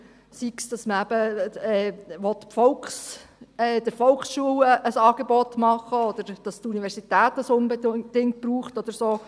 Sei es, dass man eben den Volksschulen ein Angebot machen will, oder sei es, dass die Universität das unbedingt braucht oder so.